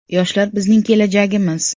Yoshlar bizning kelajagimiz.